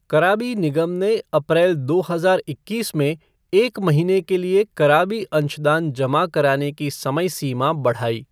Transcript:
कराबी निगम ने अप्रैल दो हज़ार इक्कीस में एक महीने के लिए कराबी अंशदान जमा कराने की समय सीमा बढ़ाई